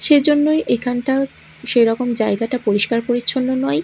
সেজন্যই এখানটাও সেইরকম জায়গাটা পরিষ্কার পরিচ্ছন্ন নয়।